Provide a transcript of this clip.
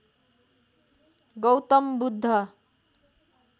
Gautam Buddha